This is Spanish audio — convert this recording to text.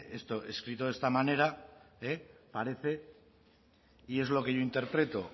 escrito de esta manera parece y es lo que yo interpreto